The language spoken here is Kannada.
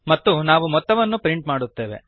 ಮತ್ತು ನಾವು ಮೊತ್ತವನ್ನು ಪ್ರಿಂಟ್ ಮಾಡುತ್ತೇವೆ